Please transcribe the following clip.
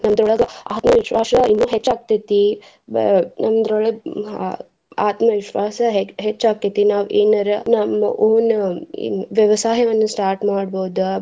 ನಮ್ದರೊಳಗ ಆತ್ಮವಿಶ್ವಾಸ ಇನ್ನು ಹೆಚ್ಚ ಆಗ್ತೆತಿ. ನಮ್ದರೊಳಗ ಆತ್ಮ ವಿಶ್ವಾಸ ಹೇ~ ಹೆಚ್ಚ ಆಕ್ಕೇತಿ. ನಾವ್ ಏನರ ನಮ್ಮ own ವ್ಯವಸಾಯವನ್ನ start ಮಾಡ್ಬಹುದ.